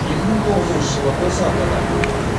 екі мың тоғызыншы жылы осакада